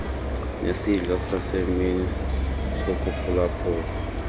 nezidlo zasemini zokuphulaphula